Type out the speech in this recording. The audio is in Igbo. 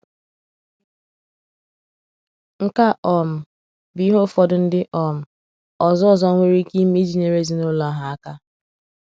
Nke a um bụ ụfọdụ ihe ndị um ọzọ ọzọ nwere ike ime iji nyere ezinụlọ ahụ aka.